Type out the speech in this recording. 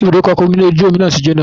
Ibùdókọ̀ ọkọ̀ ojú omi náà ti jóná